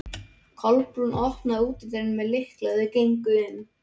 Kolbrún opnaði útidyrnar með lykli og þau gengu inn.